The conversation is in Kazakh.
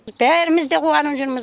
бәріміз де қуанып жүрміз